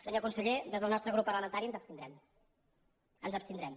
senyor conseller des del nostre grup parlamentari ens abstindrem ens abstindrem